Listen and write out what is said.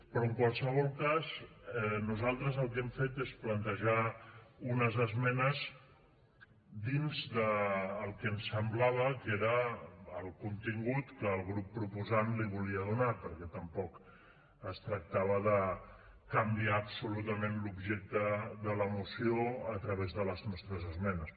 però en qualsevol cas nosaltres el que hem fet és plantejar unes esmenes dins del que ens semblava que era el contingut que el grup proposant li volia donar perquè tampoc es tractava de canviar absolutament l’objecte de la moció a través de les nostres esmenes